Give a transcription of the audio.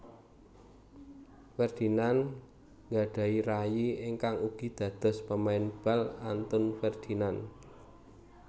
Ferdinand nggadhahi rayi ingkang ugi dados pemain bal Anton Ferdinand